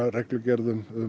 reglugerðum